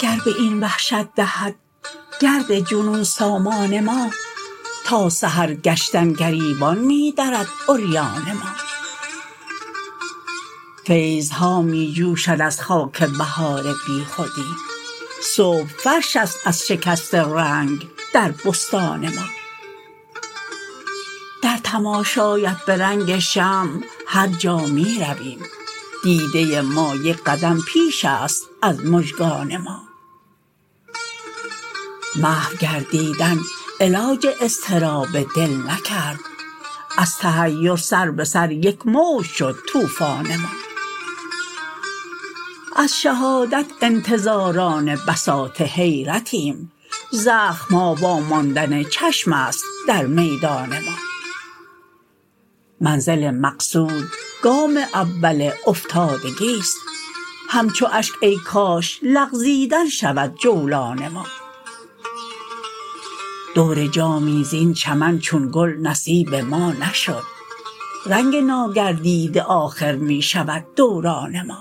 گر به این وحشت دهدگرد جنون سامان ما تا سحرگشتن گریبان می درد عریان ما فیض ها می جوشد از خاک بهار بیخودی صبح فرش است ازشکست رنگ در بستان ما در تماشایت به رنگ شمع هرجا می رویم دیده ما یک قدم پیش است از مژگان ما محوگردیدن علاج اضطراب دل نکرد ازتحیر سر به سر یک موج شد توفان ما از شهادت انتظاران بساط حیرتیم زخمها واماندن چشم است در میدان ما منزل مقصود گام اول افتادگی ست همچواشک ای کاش لغزیدن شود جولان ما دور جامی زین چمن چون گل نصیب ما نشد رنگ ناگردیده آخر می شود دوران ما